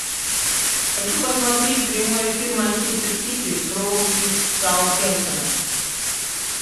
хочу посмотреть прямой эфир манчестер сити против саутгемптона